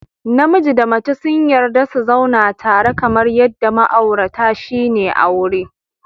Namiji da mace sun yarda su zauna tare kamar yadda ma'aurata shine aure